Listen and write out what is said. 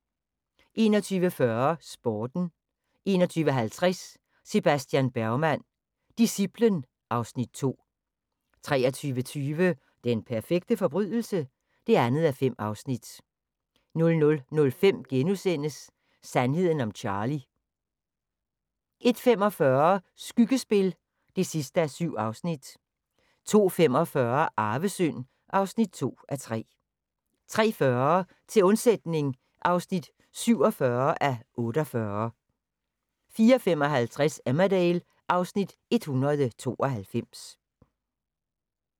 21:40: Sporten 21:50: Sebastian Bergman: Disciplen (Afs. 2) 23:20: Den perfekte forbrydelse? (2:5) 00:05: Sandheden om Charlie * 01:45: Skyggespil (7:7) 02:45: Arvesynd (2:3) 03:40: Til undsætning (47:48) 04:55: Emmerdale (Afs. 192)